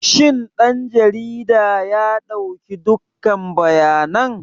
Shin ɗan jarida ya ɗauki dukkan bayanan?